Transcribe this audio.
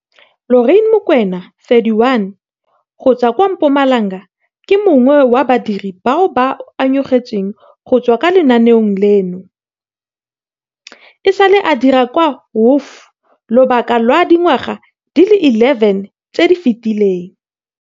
Lorraine Mokoena 31 go tswa kwa Mpumalanga ke mongwe wa badiri bao ba ungwetsweng go tswa mo lenaaneng leno. E sale a dira kwa WOF lobaka lwa dingwaga di le 11 tse di fetileng.